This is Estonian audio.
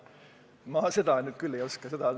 Ma seda küll ei oska öelda.